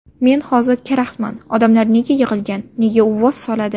Men hozir karaxtman, odamlar nega yig‘ilgan, nega uvvos soladi?